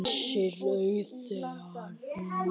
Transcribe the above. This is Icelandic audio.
Missir Auðar var mikill.